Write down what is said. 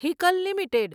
Hikal limited